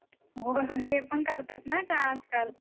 अगं बाई, ते पण करतात ना आजकाल.